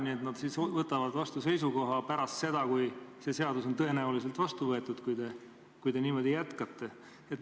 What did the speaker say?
Nii et nad siis võtavad vastu seisukoha pärast seda, kui see seadus on tõenäoliselt vastu võetud, kui te niimoodi jätkate.